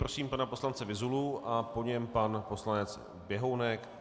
Prosím pana poslance Vyzulu a po něm pan poslanec Běhounek.